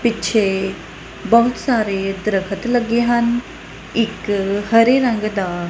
ਪਿੱਛੇ ਬਹੁਤ ਸਾਰੇ ਦਰਖਤ ਲੱਗੇ ਹਨ ਇੱਕ ਹਰੇ ਰੰਗ ਦਾ--